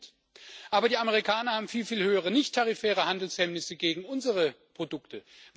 Ja, das stimmt, aber die Amerikaner haben viel, viel höhere nichttarifäre Handelshemmnisse gegen unsere Produkte.